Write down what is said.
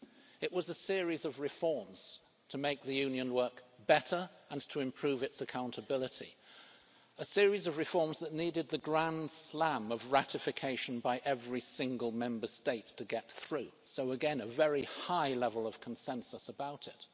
It was a series of reforms to make the Union work better and to improve its accountability, a series of reforms that needed the grand slam of ratification by every single Member State to get through, so again, a very high level of consensus about it.